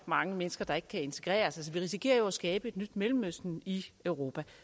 mange mennesker der ikke kan integreres vi risikerer jo at skabe et nyt mellemøsten i europa og